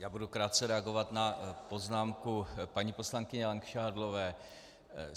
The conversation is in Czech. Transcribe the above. Já budu krátce reagovat na poznámku paní poslankyně Langšádlové.